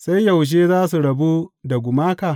Sai yaushe za su rabu da gumaka?